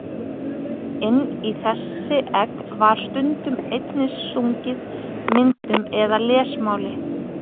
Inn í þessi egg var stundum einnig stungið myndum eða lesmáli.